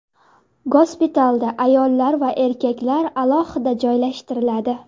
Gospitalda ayollar va erkaklar alohida joylashtiriladi.